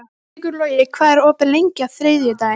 Sigurlogi, hvað er opið lengi á þriðjudaginn?